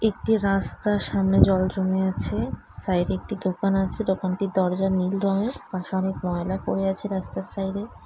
একটি রাস্তার সামনে জল জমে আছে | সাইডে একটি দোকান আছে দোকানটির দরজার নীল রঙের | পাশে অনেক ময়লা পরে আছে রাস্তার সাইডে।